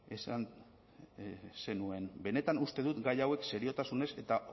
esan zenuen benetan uste dut gai hauek seriotasunez eta